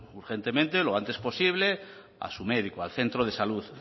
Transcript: urgentemente lo antes posible a su médico a su centro de salud